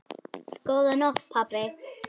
Góða nótt pabbi.